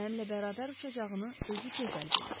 Mənimlə bərabər uçacağını özü gözəl bilir.